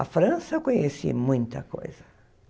A França, eu conheci muita coisa.